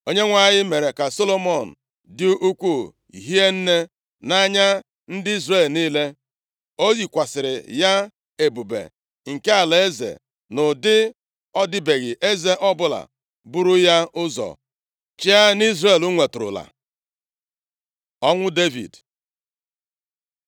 Onyenwe anyị mere ka Solomọn dị ukwuu hie nne nʼanya ndị Izrel niile. Ọ yikwasịrị ya ebube nke alaeze nʼụdị ọ dịbeghị eze ọbụla buru ya ụzọ chịa nʼIzrel nweturula. Ọnwụ Devid